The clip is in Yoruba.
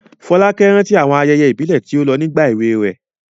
Folake rántí àwọn ayẹyẹ ìbílẹ̀ tí ó lọ nígbà èwe rẹ̀.